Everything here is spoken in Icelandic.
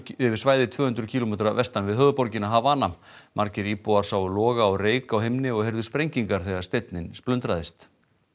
yfir svæði tvö hundruð kílómetra vestan við höfuðborgina Havana margir íbúar sáu loga og reyk á himni og heyrðu sprengingar þegar steinninn splundraðist